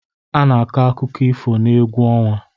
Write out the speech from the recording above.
A na-akọ akụkọ ifo n'egwu ọnwa